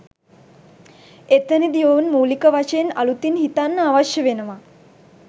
එතනදි ඔවුන් මූලික වශයෙන් අලුතින් හිතන්න අවශ්‍ය වෙනවා